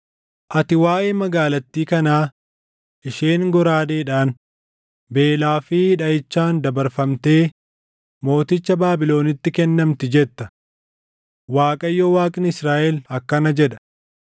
“Ati waaʼee magaalattii kanaa, ‘Isheen goraadeedhaan, beelaa fi dhaʼichaan dabarfamtee mooticha Baabilonitti kennamti’ jetta; Waaqayyo Waaqni Israaʼel akkana jedha: